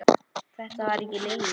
Þetta var ekki Lilla.